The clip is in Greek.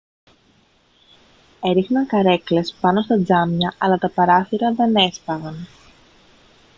έριχναν καρέκλες πάνω στα τζάμια αλλά τα παράθυρα δεν έσπαγαν